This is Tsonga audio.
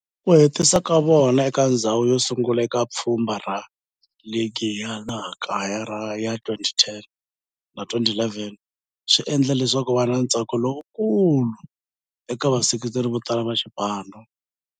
Ku hetisa ka vona eka ndzhawu yosungula eka pfhumba ra ligi ya laha kaya ya 2010-11 swi endle leswaku kuva na ntsako lowukulu eka vaseketeri votala va xipano.